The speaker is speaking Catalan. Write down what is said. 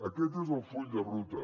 aquest és el full de ruta